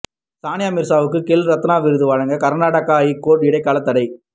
சானியா மிர்சாவுக்கு கேல் ரத்னா விருது வழங்க கர்நாடக ஐகோர்ட் இடைக்கால தடை